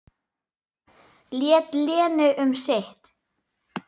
Lét Lenu um sitt.